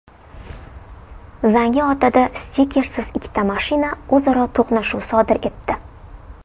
Zangiotada stikersiz ikkita mashina o‘zaro to‘qnashuv sodir etdi.